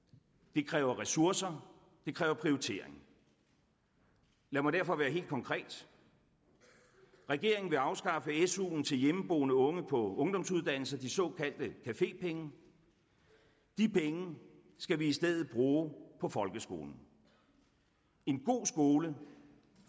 det kræver ressourcer og det kræver prioritering lad mig derfor være helt konkret regeringen vil afskaffe su’en til hjemmeboende unge på ungdomsuddannelser de såkaldte cafépenge de penge skal vi i stedet bruge på folkeskolen en god skole